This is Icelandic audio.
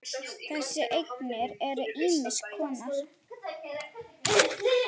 Þessar eignir eru ýmiss konar.